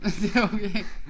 Det okay